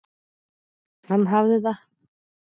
Hann hafði það.